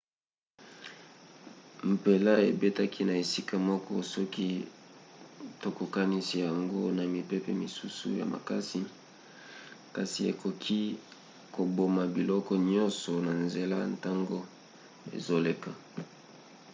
mpela ebetaki na esika moko soki tokokanisi yango na mipepe misusu ya makasi kasi ekoki koboma biloko nyonso na nzela ntango ezoleka